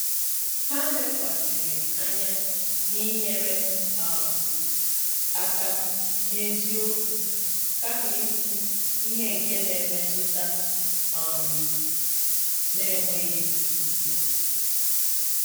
Ha lekwasịrị anya n’inyere um aka n’eziokwu kama ikwu ihe nke na-emetụta um n"enweghi isi